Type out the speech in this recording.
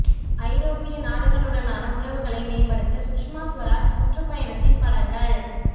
ஐரோப்பிய நாடுகளுடனான உறவுகளை மேம்படுத்த சுஷ்மா சுவராஜ் சுற்று பயணத்தின் படங்கள்